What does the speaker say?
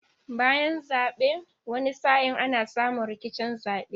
Bayan zaben wani sa'in ana samu rikicin zaben